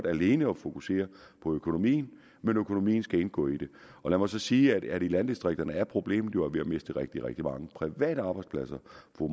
alene fokuserer på økonomien men økonomien skal indgå i det og lad mig så sige at i landdistrikterne er problemet jo at vi har mistet rigtig rigtig mange private arbejdspladser